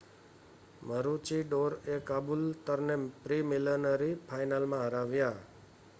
મરુચીડોરએ કાબૂલતરને પ્રીલિમિનરી ફાઇનલમાં હરાવ્યા